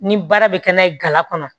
Ni baara bɛ kɛ n'a ye gala kɔnɔ